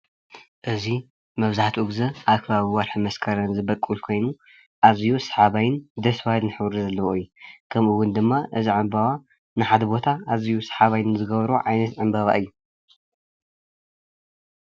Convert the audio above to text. እዚ መብዛሕትኡ ግዜ ኣብ ከባቢ ወርሒ መስከረም ዝቦቅል ኮይኑ ኣዝዩ ሰሓባይን ደስ በሃልን ሕብሪ ዘለዎ እዩ፣ ከምኡውን ድማ እዚ ዕምበባ ንሓደ ቦታ ኣዝዩ ሰሓባይ ንዝገብሮ ዓይነት ዕምበባ እዩ፡፡